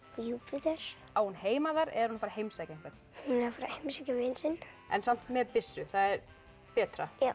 Júpíter á hún heima þar er hún bara að heimsækja einhvern hún er að fara að heimsækja vin sinn en samt með byssu það er betra já